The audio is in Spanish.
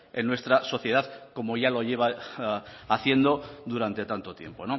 en nuestra sociedad como ya lo lleva haciendo durante tanto tiempo